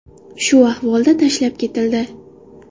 Shu ahvolda tashlab ketildi.